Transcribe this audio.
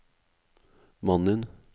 mannen